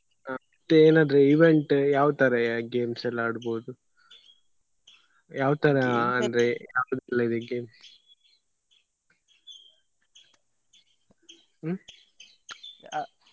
ಹ ಮತ್ತೆ ಏನಾದ್ರು event ಯಾವ್ ತರ games ಎಲ್ಲ ಆಡ್ಬಹುದು ಯಾವ್ ತರ ಅಂದ್ರೆ game ಹ್ಮ್ .